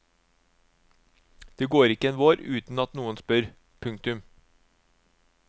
Det går ikke en vår uten at noen spør. punktum